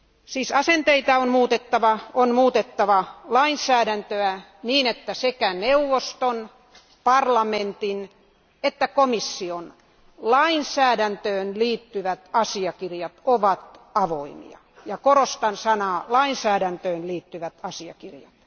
Siis asenteita on muutettava, on muutettava lainsäädäntöä, niin että sekä neuvoston, parlamentin että komission lainsäädäntöön liittyvät asiakirjat ovat avoimia, ja korostan sanaa lainsäädäntöön liittyvät asiakirjat.